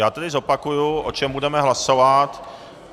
Já tedy zopakuji, o čem budeme hlasovat.